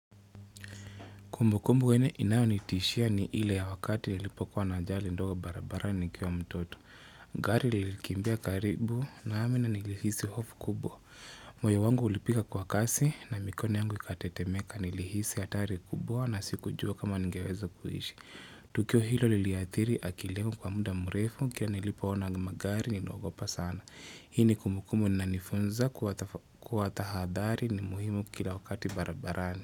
Kumbukumbu yenye inayonitishia ni ile ya wakati nilipokuwa na ajali ndogo barabarani nikiwa mtoto. Gari lilikimbia karibu nami nilihisi hofu kubwa. Moyo wangu ulipiga kwa kasi na mikono yangu ikatetemeka. Nilihisi hatari kubwa na sikujua kama ningeweza kuishi. Tukio hilo liliathiri akili yangu kwa muda mrefu. Kila nilipoona magari niliogopa sana. Hii ni kumbukumbu inanifunza kuwa tahadhari ni muhimu kila wakati barabarani.